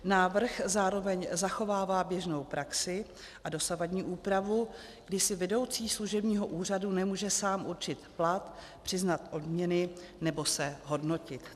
Návrh zároveň zachovává běžnou praxi a dosavadní úpravu, kdy si vedoucí služebního úřadu nemůže sám určit plat, přiznat odměny nebo se hodnotit.